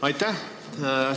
Aitäh!